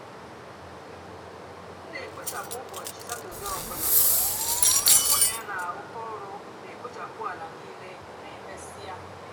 m nà-èkpochapụ úbọchị satọde ọ bụlà ónyé mụ nà yá nà-àrụkọ ọrụ nà-èkpochapụ álá nííle mà emesíá.